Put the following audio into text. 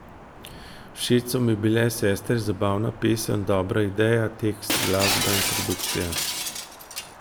Všeč so mi bile Sestre, zabavna pesem, dobra ideja, tekst, glasba in produkcija.